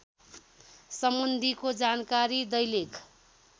सम्बन्धीको जानकारी दैलेख